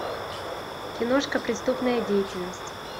киношка преступная деятельность